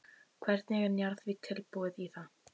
Hvernig er Njarðvík tilbúið í það?